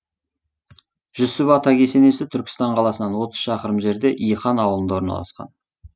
жүсіп ата кесенесі түркістан қаласынан отыз шақырым жерде иқан аулында орналасқан